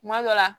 Kuma dɔ la